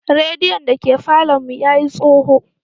Radiyon da ke falon mu ya yi tsoho.